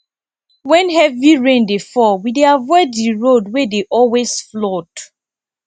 wen heavy rain dey fall we dey avoid di road wey dey always flood